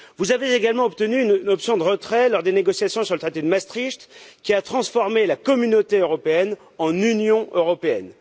Vous avez également obtenu une option de retrait lors des négociations sur le traité de Maastricht, qui a transformé la Communauté européenne en Union européenne.